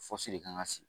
de kan ka sigi